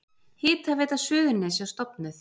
Hitaveita Suðurnesja stofnuð.